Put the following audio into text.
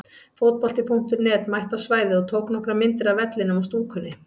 Fótbolti.net mætti á svæðið og tók nokkrar myndir af vellinum og stúkunni.